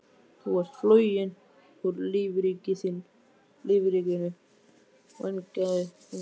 Þú ert floginn úr lífríkinu, vængjaði Bangsi.